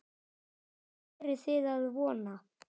Hvað eruð þið að vona?